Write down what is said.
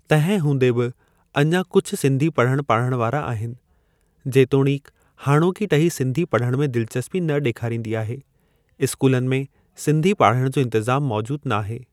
तंहिं हूंदे बि अञा कुझु सिंधी पढ़णु पाढ़ण वारा आहिनि। जेतोणीकि हाणोकी टही सिंधी पढ़णु में दिलचस्पी न डे॒खारींदी आहे। इस्कूलनि में सिंधी पाढ़णु जो इंतिज़ाम मौजूदु नाहे।